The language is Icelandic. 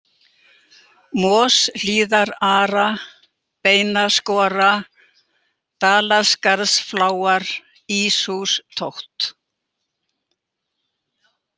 Moshlíðara, Beinaskora, Dalaskarðsfláar, Íshústótt